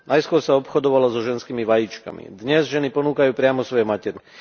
Najskôr sa obchodovalo so ženskými vajíčkami, dnes ženy ponúkajú priamo svoje maternice.